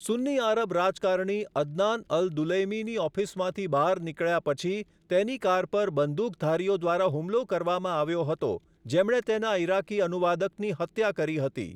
સુન્ની આરબ રાજકારણી, Adnan al દુલૈમીની ઑફિસમાંથી બહાર નીકળ્યા પછી, તેની કાર પર બંદૂકધારીઓ દ્વારા હુમલો કરવામાં આવ્યો હતો જેમણે તેના ઇરાકી અનુવાદકની હત્યા કરી હતી.